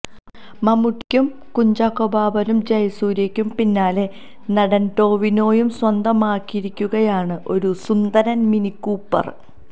മമ്മൂട്ടിയ്ക്കും കുഞ്ചാക്കോ ബോബനും ജയസൂര്യയ്ക്കും പിന്നാലെ നടൻ ടൊവിനോയും സ്വന്തമാക്കിയിരിക്കുകയാണ് ഒരു സുന്ദരൻ മിനികൂപ്പർ